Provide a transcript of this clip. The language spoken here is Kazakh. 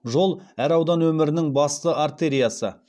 жол әр аудан өмірінің басты артериясы